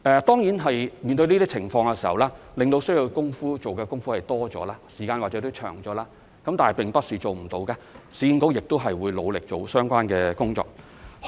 當然，市建局面對這些情況，需要做的工夫會多了，時間或許也會長了，但並不是做不到，市建局亦會努力做好相關的工作。